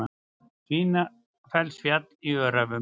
Svínafellsfjall í Öræfum.